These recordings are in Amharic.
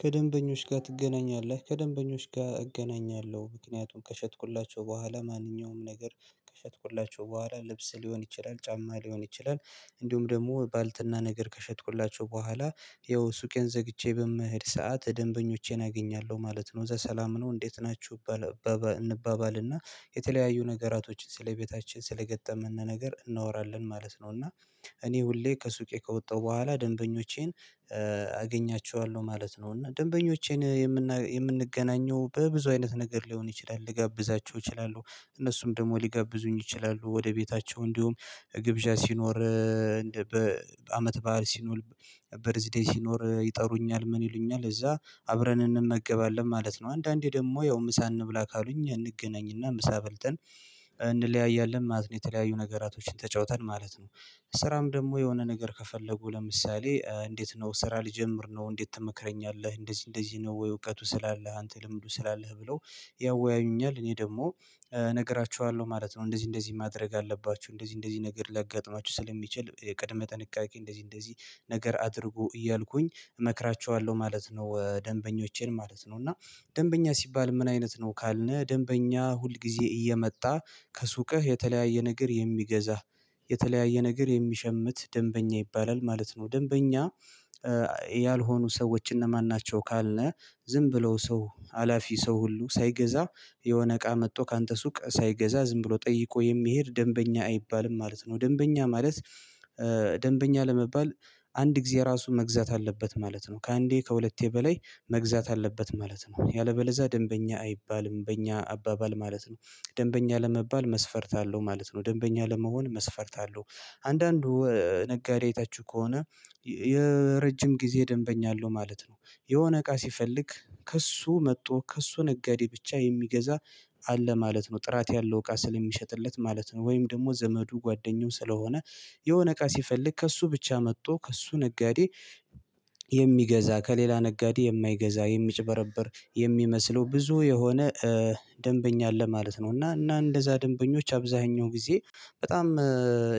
ከደንበኞች ጋር ትገናኛለህ ከደንበኞች ጋር እገናኛለሁ ምክንያቱም ከሸጥኩላቸው በኋላ ማንኛውም ነገር ከሸጥኩላቸው በኋላ ልብስ ሊሆን ይችላል ጫማ ሊሆን ይችላል እንዲሁም ደግሞ ባልትና ነገር ከሸጥኩላቸው በኋላ ያው ሱቄን ዘግቼ በመሄድ ሰዓት ደንበኞቼን አገኛለሁ ማለት ነው ከዛ ሰላም ነው እንዴት ናችሁ? እንባባልና የተለያዩ ነገራቶችን ስለቤታችን ስለገጠመነ ነገር እናወራለን ማለት ነው። እና እኔ ሁሌ ከሱቄ ከወጣሁ በኋላ ደንበኞቼን አገኛቸዋለሁ ማለት ነው። እና ደንበኞቼን የምንገናኘው በብዙ አይነት ነገር ሊሆን ይችላል ልጋብዛቸው እችላለሁ እነሱም ደግሞ ሊጋብዙኝ ይችላሉ ወደ ቤታቸው እንዲሁም ግብዣ ሲኖር በአመት ባህል ሲኖር በርዝዴይ ሲኖር ይጠሩኛል ምን ይሉኛል እዛ አብረን እንመገባለን ማለት ነው። አንዳንዴ ደግሞ ያው ምሳ እንብላ ካሉኝ እንገናኝና ምሳ በልተን እንለያያለን ማለት ነው። የተለያዩ ነገራቶችን ተጫውተን ማለት ነው። ስራም ደግሞ የሆነ ነገር ከፈለጉ ለምሳሌ እንዴት ነው ስራ ልጀምር ነው እንዴት ተመክረኛለህ እንደዚህ እንደዚህ ነው? ወይ እውቀቱ ስላለህ አንተ ልምዱ ስላለህ ብለው? ያወያዩኛል እኔ ደግሞ እነግራቸዋለሁ ማለት ነው። እንደዚህ እንደዚህ ማድረግ አለባችሁ እንደዚህ እንደዚህ ነገር ሊያጋጥማችሁ ስለሚችል ቅድመ ጥንቃቄ እንደዚህ እንደዚህ ነገር አድርጎ እያልኩኝ እመክራቸዋለሁ ማለት ነው። ደንበኞቼን ማለት ነው እና ደንበኛ ሲባል ምን አይነት ነው? ካልነ ደንበኛ ሁል ጊዜ እየመጣ ከሱቅህ የተለያየ ነገር የሚገዛህ የተለያየ ነገር የሚሸምት ደንበኛ ይባላል ማለት ነው። ደንበኛ ያልሆኑ ሰዎች እነማን ናቸው? ካልነ ዝም ብለው ሰው ሀላፊ ሰው ሁሉ ሳይገዛ የሆነ እቃ መጥቶ ካንተ ሱቅ ሳይገዛ ዝም ብሎ ጠይቆ የሚሄድ ደንበኛ አይባልም ማለት ነው። ደንበኛ ማለት ደንበኛ ለመባል አንድ ጊዜ ራሱ መግዛት አለበት ማለት ነው። ከአንዴ ከሁለቴ በላይ መግዛት አለበት ማለት ነው። ያለበለዛ ደንበኛ አይባልም በእኛ አባባል ማለት ነው። ደንበኛ ለመባል መስፈርት አለው ማለት ነው። ደንበኛ ለመሆን መስፈርት አለው አንዳንዱ ነጋዴ አይታቹህ ከሆነ የረጅም ጊዜ ደንበኛ አለው ማለት ነው የሆነ እቃ ሲፈልግ ከእሱ መጥቶ ከእሱ ነጋዴ ብቻ የሚገዛ አለ ማለት ነው። ጥራት ያለው እቃ ስለሚሸጥለት ማለት ነው። ወይም ደግሞ ዘመዱ ጓደኛው ስለሆነ የሆነ እቃ ሲፈልግ ከእሱ ብቻ መጥቶ ከእሱ ነጋዴ የሚገዛ ከሌላ ነጋዴ የማይገዛ የሚጭበረበር የሚመስለው ብዙ የሆነ ደንበኛ አለ ማለት ነው። እና እንደዛ ደንበኞች አብዛኛው ጊዜ በጣም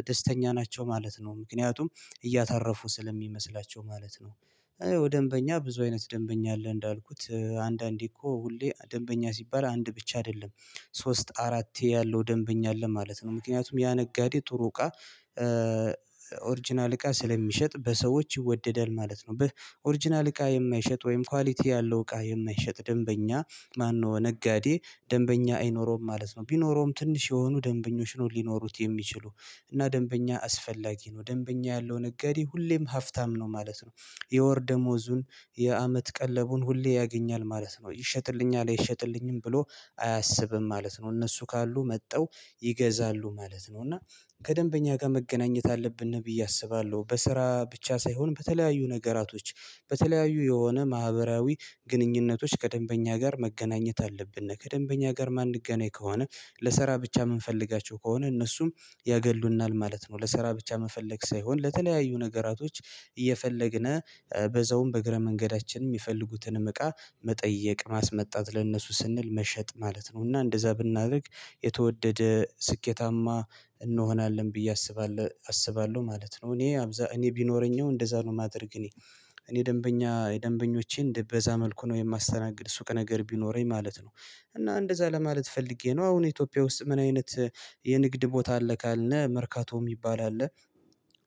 ደስተኛ ናቸው ማለት ነው። ምክንያቱም እያተረፉ ስለሚመስላቸው ማለት ነው። እና ያው ደንበኛ ብዙ አይነት ደንበኛ አለ እንዳልኩት አንዳንዴ እኮ ሁሌ ደንበኛ ሲባል አንድ ብቻ አይደለም ሶስት አራት ያለው ደንበኛ አለ ማለት ነው። ምክንያቱም ያ ነጋዴ ጥሩ እቃ ኦርጅናል እቃ ስለሚሸጥ በሰዎች ይወደዳል ማለት ነው። ኦሪጅናል እቃ የማይሸጥ ወይም ኳሊቲ ያለው እቃ የማይሸጥ ደንበኛ ማነው? ነጋዴ ደንበኛ አይኖረውም ማለት ነው። ቢኖረውም ትንሽ የሆኑ ደንበኞች ነው ሊኖሩት የሚችሉ እና ደንበኛ አስፈላጊ ነው ደንበኛ ያለው ነጋዴ ሁሌም ሀፍታም ነው ማለት ነው። የወር ደሞዙን የአመት ቀለቡን ሁሌ ያገኛል ማለት ነው። ይሸጥልኛል አይሸጥልኝም ብሎ አያስብም ማለት ነው። እነሱ ካሉ መጠው ይገዛሉ ማለት ነው። እና ከደንበኛ ጋር መገናኘት አለብን ነው ብዬ አስባለሁ። በስራ ብቻ ሳይሆን በተለያዩ ነገራቶች በተለያዩ የሆነ ማህበራዊ ግንኙነቶች ከደንበኛ ጋር መገናኘት አለብን ከደንበኛ ጋር ማንገናኝ ከሆነ ለሰራ ብቻ የምንፈልጋቸው ከሆነ እነሱም ያገሉናል ማለት ነው። ለስራ ብቻ መፈለግ ሳይሆን ለተለያዩ ነገራቶች እየፈለግን በዛውም በእግረ መንገዳችን የሚፈልጉትንም እቃ መጠየቅ ማስመጣት ለእነሱ ስንል መሸጥ ማለት ነው። እና እንደዛ ብናደርግ የተወደደ ስኬታማ እንሆናለን ብዬ አስባለሁ አስባለሁ ማለት ነው። እኔ ቢኖረኝ እንደዛ ነው የማደርግ እኔ እኔ ደንበኛ የደንበኞቼን በዛ መልኩ ነው የማስተናግድ ሱቅ ነገር ቢኖረኝ ማለት ነው። እና እንደዛ ለማለት ፈልጌ ነው አሁን ኢትዮጵያ ውስጥ ምን አይነት የንግድ ቦታ አለ? ካልነ መርካቶ የሚባል አለ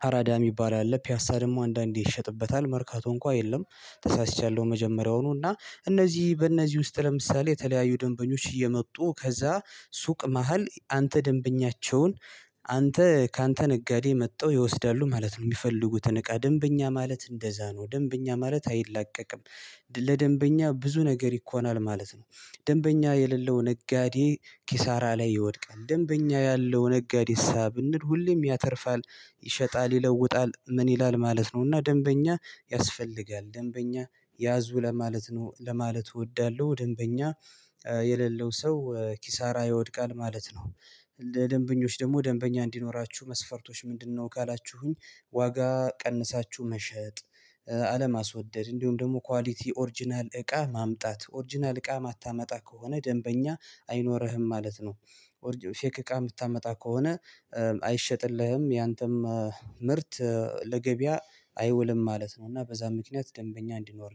አራዳ የሚባል አለ ፒያሳ ደግሞ አንዳንዴ ይሸጥበታል መርካቶ እንኳን የለም። ተሳስቻለሁ መጀመሪያውኑ እና እነዚህ በእነዚህ ውስጥ ለምሳሌ የተለያዩ ደንበኞች እየመጡ ከዛ ሱቅ መሃል አንተ ደንበኛቸውን አንተ ካንተ ነጋዴ መጠው ይወስዳሉ ማለት ነው። የሚፈልጉትን እቃ ደንበኛ ማለት እንደዛ ነው ደንበኛ ማለት አይላቀቅም። ለደንበኛ ብዙ ነገር ይሆናል ማለት ነው። ደንበኛ የሌለው ነጋዴ ኪሳራ ላይ ይወድቃል። ደንበኛ ያለው ነጋዴ እሳ ብንል ሁሌም ያተርፋል ይሸጣል ይለውጣል ምን ይላል ማለት ነው። እና ደንበኛ ያስፈልጋል ደንበኛ ያዙ ለማለት ነው ለማለት እወዳለሁ። ደንበኛ የሌለው ሰው ኪሳራ ይወድቃል ማለት ነው። ለደንበኞች ደግሞ ደንበኛ እንዲኖራችሁ መስፈርቶች ምንድነው ካላችሁኝ? ዋጋ ቀንሳችሁ መሸጥ አለማስወደድ እንዲሁም ደግሞ ኳሊቲ ኦርጅናል እቃ ማምጣት ኦርጅናል እቃ የማታመጣ ከሆነ ደንበኛ አይኖርህም ማለት ነው። ፌክ እቃ የምታመጣ ከሆነ አይሸጥልህም ያንተም ምርት ለገበያ አይወልም ማለት ነው። እና በዛ ምክንያት ደንበኛ እንዲኖር